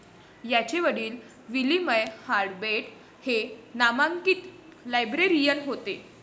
याचे वडील William Harvard Brett हे नामांकित लाइब्रेरियन होते.